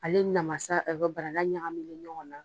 Ale ni namasa barana ɲagaminni ɲɔgɔn na.